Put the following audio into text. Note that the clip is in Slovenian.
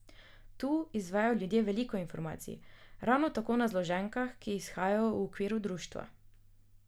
Tu izvejo ljudje veliko informacij, ravno tako na zloženkah, ki izhajajo v okviru društva.